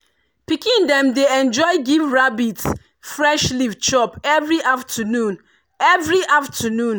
pikin dem dey enjoy give rabbit fresh leaf chop every afternoon. every afternoon.